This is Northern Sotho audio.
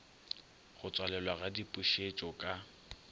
go tswalelwa ga dipušetšo ka